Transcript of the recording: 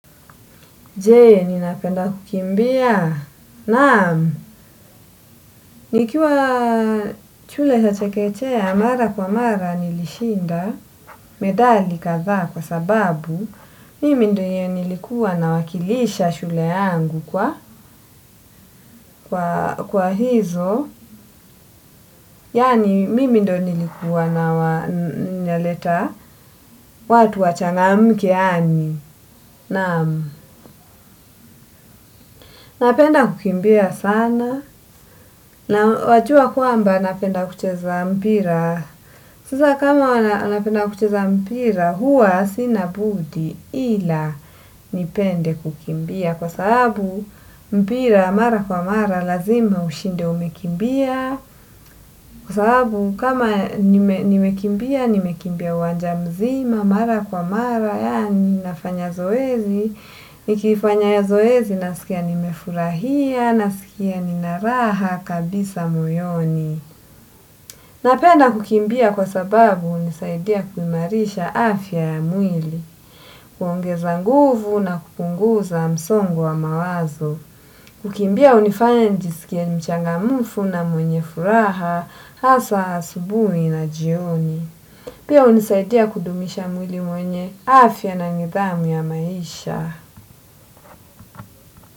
Je ninapenda kukimbia, naamu, nikiwa shule ya chekechea mara kwa mara nilishinda medali kadhaa kwa sababu, mimi ndiyo nilikuwa nawakilisha shule yangu kwa hizo, yaani mimi ndiyo nilikuwa naleta watu wachangamka yaani, naamu, napenda kukimbia sana, na wajua kwamba napenda kucheza mpira. Sasa kama anapenda kucheza mpira huwa sina budi ila nipende kukimbia. Kwa sababu mpira mara kwa mara lazima ushinde umekimbia. Kwa sababu kama nimekimbia nimekimbia uwanja mzima. Mara kwa mara yaani nafanya zoezi nikifanya zoezi nasikia nimefurahia. Nasikia ninaraha kabisa moyoni. Napenda kukimbia kwa sababu hunisaidia kuimarisha afya ya mwili kuongeza nguvu na kupunguza msongo wa mawazo. Kukimbia hunifanya nijisikie mchangamfu na mwenye furaha hasa asubuhi na jioni. Pia hunisaidia kudumisha mwili mwenye afya na nidhamu ya maisha.